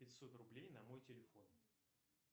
пятьсот рублей на мой телефон